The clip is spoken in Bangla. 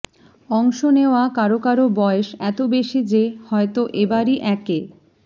অংশ নেওয়া কারো কারো বয়স এত বেশি যে হয়তো এবারই একে